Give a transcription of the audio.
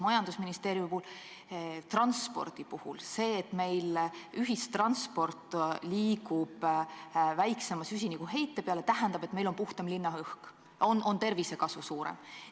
Majandusministeeriumi puhul, transpordi puhul tähendab see, et ühistransport liigub väiksema süsinikuheite poole, seda, et meil on puhtam linnaõhk, tervisekasu on suurem.